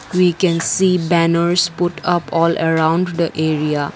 we can see banners put up all around the area.